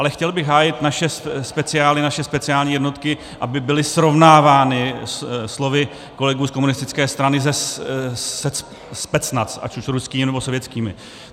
Ale chtěl bych hájit naše speciály, naše speciální jednotky, aby byly srovnávány slovy kolegů z komunistické strany se Specnaz, ať už ruskými, nebo sovětskými.